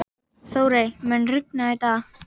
Þórey, mun rigna í dag?